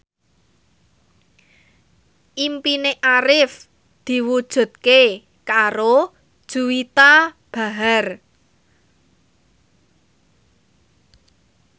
impine Arif diwujudke karo Juwita Bahar